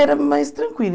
Era mais tranquila.